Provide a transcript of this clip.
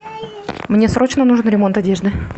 мне срочно нужен ремонт одежды